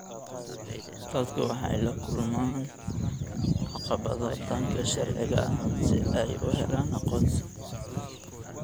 Dadku waxay la kulmaan caqabado dhanka sharciga ah si ay u helaan aqoonsi.